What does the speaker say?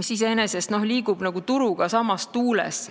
mis iseenesest liigub turuga samas tuules.